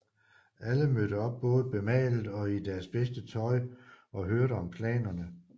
Alle mødte op både bemalet og i deres bedste tøj og hørte om planerne